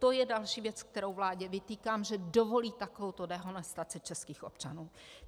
To je další věc, kterou vládě vytýkám, že dovolí takovouto dehonestaci českých občanů.